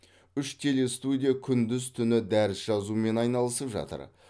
үш телестудия күндіз түні дәріс жазумен айналысып жатыр